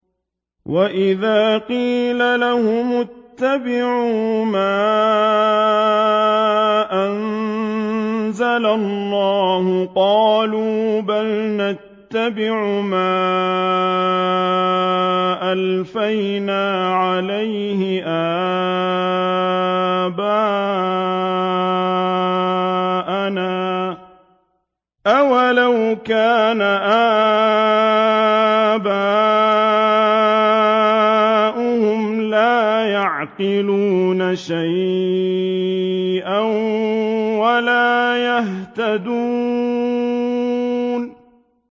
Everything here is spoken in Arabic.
وَإِذَا قِيلَ لَهُمُ اتَّبِعُوا مَا أَنزَلَ اللَّهُ قَالُوا بَلْ نَتَّبِعُ مَا أَلْفَيْنَا عَلَيْهِ آبَاءَنَا ۗ أَوَلَوْ كَانَ آبَاؤُهُمْ لَا يَعْقِلُونَ شَيْئًا وَلَا يَهْتَدُونَ